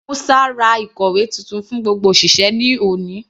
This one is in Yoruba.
Musa ra ìkòwé titun fún gbogbo òṣìṣẹ́ ní òní.